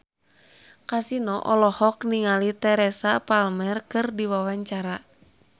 Kasino olohok ningali Teresa Palmer keur diwawancara